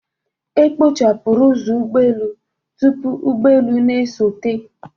E kpochapụrụ ụzọ ụgbọelu tupu ụgbọelu na-esote.